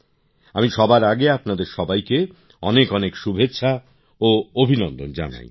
আমি সবার আগে আপনাদের সবাইকে অনেক অনেক শুভেচ্ছা ও অভিনন্দন জানাই